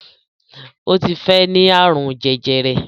Ó ti fẹ́ ní àrùn jẹjẹrẹ